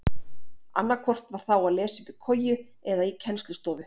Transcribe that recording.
Annaðhvort var þá að lesa uppi í koju eða í kennslustofu.